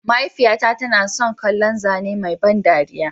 Mahaifiyata tana son kallon zane mai ban dariya.